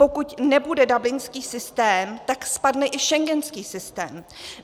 Pokud nebude dublinský systém, tak spadne i schengenský systém.